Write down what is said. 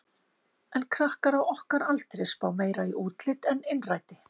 En krakkar á okkar aldri spá meira í útlit en innræti.